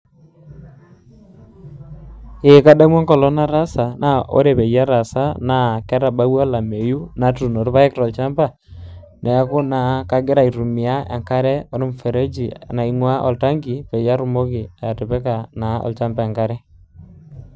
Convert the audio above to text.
Ee kadamu enkolong' nataasa, na ore peyie ataasa, naa ketabaua olameyu natuuno irpaek tolchamba, neeku naa kagira aitumia enkare ormfereji, naing'ua oltanki, peyie atumoki atipika naa olchamba enkare.